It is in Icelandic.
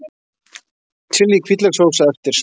Chili hvítlaukssósa eftir smekk